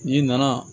N'i nana